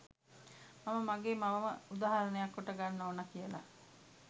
මම මගේ මවම උදාහරණයක් කොට ගන්න ඕන කියලා.